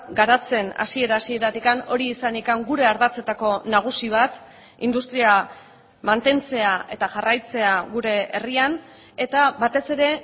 garatzen hasiera hasieratik hori izanik gure ardatzetako nagusi bat industria mantentzea eta jarraitzea gure herrian eta batez ere